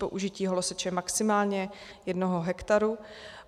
Použití holoseče maximálně jednoho hektaru.